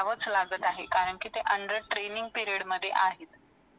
कमी वेळात करतो, कारण हे केवळ विज्ञान आणि तंत्रज्ञानाच्या प्रगतीमुळे शक्य झाले आहे.